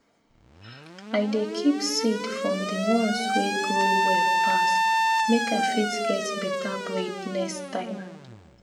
i dey keep seed from the ones wey grow well pass make i fit get better breed next time